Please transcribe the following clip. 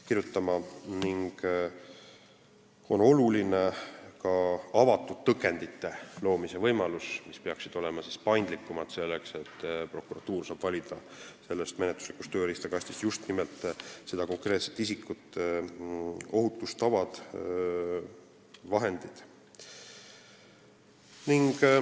Oluline on luua ka avatud tõkendite loomine, mis peaksid olema paindlikumad, et prokuratuur saaks valida menetluslikust tööriistakastist just nimelt seda isikut ohutustavad vahendid.